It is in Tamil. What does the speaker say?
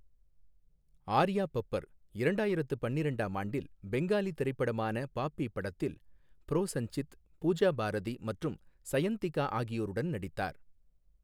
ஆர்யா பப்பர் இரண்டாயிரத்து பன்னிரெண்டாம் ஆண்டில் பெங்காலி திரைப்படமான 'பாப்பி' படத்தில் ப்ரோசஞ்சித், பூஜா பாரதி மற்றும் சயந்திகா ஆகியோருடன் நடித்தார்.